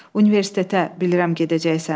Universitetə bilirəm gedəcəksən.